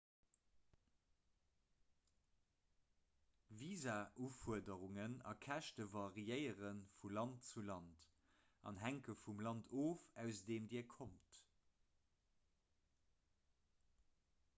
visaufuerderungen a käschte variéiere vu land zu land an hänke vum land of aus deem dir kommt